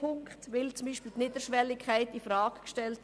Damit wird zum Beispiel die Niederschwelligkeit infrage gestellt.